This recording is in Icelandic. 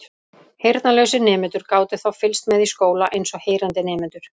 heyrnarlausir nemendur gátu þá fylgst með í skóla eins og heyrandi nemendur